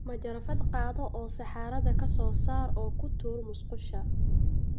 Majarafad qaado oo saxarada ka soo saar oo ku tuur musqusha.